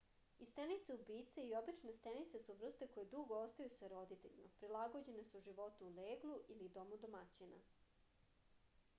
i stenice-ubice i obične stenice su vrste koje dugo ostaju sa roditeljima prilagođene su životu u leglu ili domu domaćina